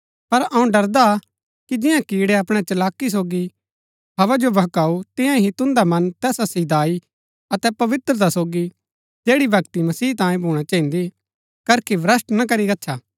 पर अऊँ डरदा हा कि जियां कीड़ै अपणै चलाकी सोगी हव्वा जो बहकाऊ तियां ही तुन्दा मन तैसा सीधाई अतै पवित्रता सोगी जैड़ी भक्ति मसीह तांयै भूणा चहिन्दी करखी भ्रष्‍ट ना करी गच्छा